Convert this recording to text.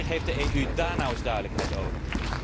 Wanneer geeft de EU daar nu eens duidelijkheid over?